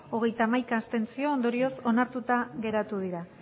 hogeita hamaika abstentzio ondorioz onartuta geratu dira